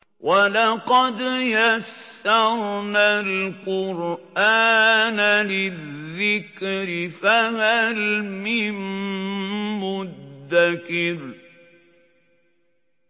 وَلَقَدْ يَسَّرْنَا الْقُرْآنَ لِلذِّكْرِ فَهَلْ مِن مُّدَّكِرٍ